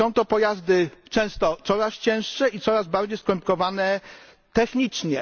Są to pojazdy często coraz cięższe i coraz bardziej skomplikowane technicznie.